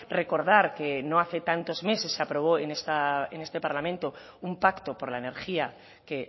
recordar que no hace tantos meses se aprobó en este parlamento un pacto por la energía que